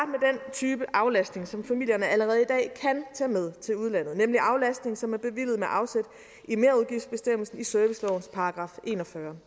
type aflastning som familierne allerede i dag kan tage med til udlandet nemlig aflastning som er bevilget med afsæt i merudgiftsbestemmelsen i servicelovens § en og fyrre